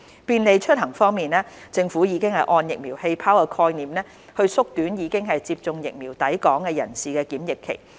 便利出行政府已按"疫苗氣泡"的概念縮短已接種疫苗的抵港人士的檢疫期。